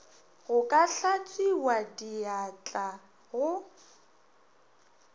go ka hlatswiwa diatla go